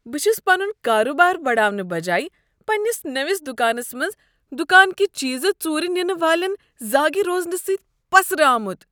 بہٕ چھُس پنٖن کاربارٕ بڑاونہٕ بجایہ پنٛنس نٔوس دکانس منٛز دكانٕکۍ چیز ژوٗرِ نِنہٕ والٮ۪ن زاگہِ روزنہٕ سٕتۍ پسرٕ آمُت۔